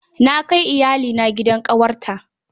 Na kai iyalina gidan ƙawarta.